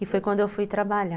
E foi quando eu fui trabalhar.